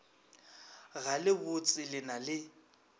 ga le botsele na le